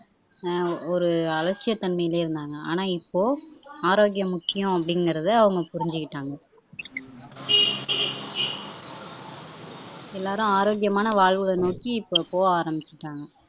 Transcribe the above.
ஆஹ் ஒரு அலட்சிய தன்மையிலே இருந்தாங்க ஆனா இப்போ ஆரோக்கியம் முக்கியம் அப்படிங்கிறதை அவங்க புரிஞ்சுக்கிட்டாங்க எல்லாரும் ஆரோக்கியமான வாழ்வை நோக்கி இப்போ போக ஆரம்பிச்சுட்டாங்க